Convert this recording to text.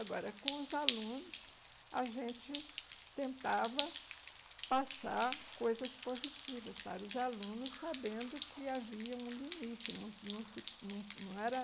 Agora, com os alunos, a gente tentava passar coisas positivas para os alunos, sabendo que havia um limite não se não se não era